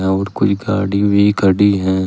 और कोई गाड़ी भी खड़ी है।